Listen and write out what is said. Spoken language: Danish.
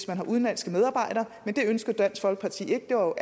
man har udenlandske medarbejdere men det ønskede dansk folkeparti ikke og